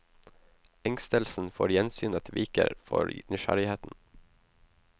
Engstelsen for gjensynet viker for nysgjerrigheten.